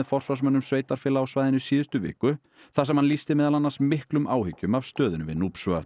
forsvarsmönnum sveitarfélaga á svæðinu í síðustu viku þar sem hann lýsti meðal annars miklum áhyggjum af stöðunni við